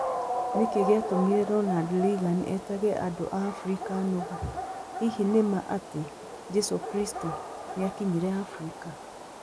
Nĩkĩ gĩatũmire Ronald Reagan etage andũ a Abirika 'nũgũ' Hihi nĩ ma atĩ 'Jesu Kristo' nĩ akinyire Afrika